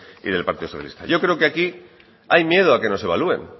y del partido socialista yo creo que aquí hay miedo a que nos evalúen